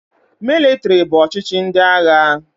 Mịlịtrị bụ ọchịchị ndị agha.